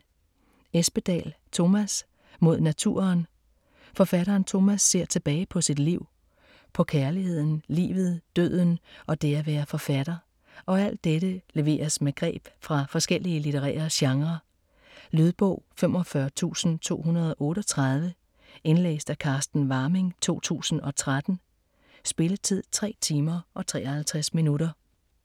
Espedal, Tomas: Mod naturen Forfatteren Tomas ser tilbage på sit liv. På kærligheden, livet, døden og det at være forfatter. Og alt dette leveres med greb fra forskellige litterære genrer. Lydbog 45238 Indlæst af Carsten Warming, 2013. Spilletid: 3 timer, 53 minutter.